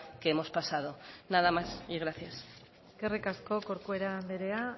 que hemos pasado nada más y gracias eskerrik asko corcuera anderea